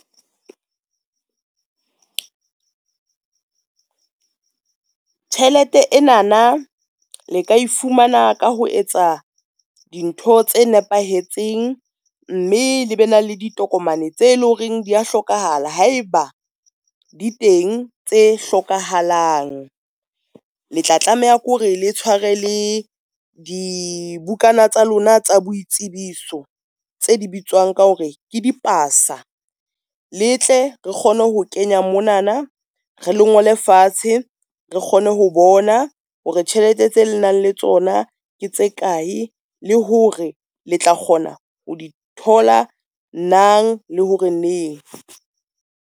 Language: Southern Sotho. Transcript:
Tjhelete ena na le ka e fumana ka ho etsa dintho tse nepahetseng, mme le be na le ditokomane tse loreng dia hlokahala, haeba di teng tse hlokahalang. Le tla tlameha ke hore le tshware le dibukana tsa lona tsa boitsebiso tse di bitswang ka hore ke di pasa. Le tle re kgone ho kenya monana, re le ngole fatshe, re kgone ho bona hore tjhelete tse le nang le tsona ke tse kae, le hore le tla kgona ho di thola nang le hore neng.